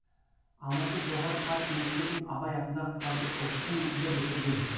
алматы жоғары партия мектебін абай атындағы қазұпу ды бітірген